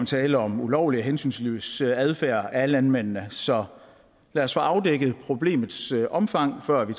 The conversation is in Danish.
tale om ulovlig og hensynsløs adfærd af landmændene så lad os få afdækket problemets omfang før vi